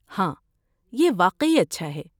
ہاں، یہ واقعی اچھا ہے۔